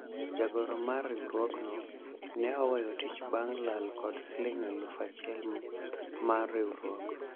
jagoro mar riwruogno ne oweyo tich bang' lal kod siling alufu achiel mar riwruok